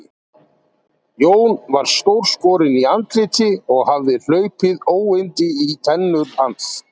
Jón var stórskorinn í andliti og hafði hlaupið óyndi í tennur hans.